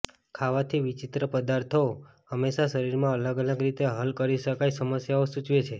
ખાવાથી વિચિત્ર પદાર્થો હંમેશા શરીરમાં અલગ અલગ રીતે હલ કરી શકાય સમસ્યાઓ સૂચવે છે